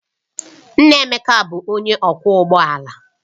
Nna Emeka bụ onye ọkwọ ụgbọ ala